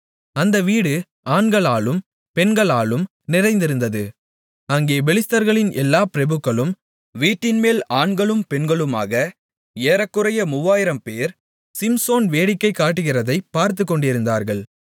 அந்த வீடு ஆண்களாலும் பெண்களாலும் நிறைந்திருந்தது அங்கே பெலிஸ்தர்களின் எல்லா பிரபுக்களும் வீட்டின்மேல் ஆண்களும் பெண்களுமாக ஏறக்குறைய மூவாயிரம் 3000 பேர் சிம்சோன் வேடிக்கை காட்டுகிறதைப் பார்த்துக்கொண்டிருந்தார்கள்